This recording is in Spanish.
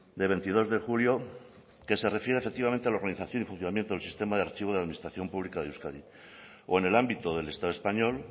de veintidós de julio que se refiere efectivamente a la organización y funcionamiento del sistema de archivo de la administración pública de euskadi o en el ámbito del estado español